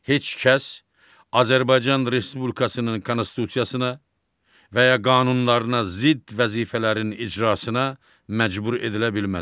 Heç kəs Azərbaycan Respublikasının Konstitusiyasına və ya qanunlarına zidd vəzifələrin icrasına məcbur edilə bilməz.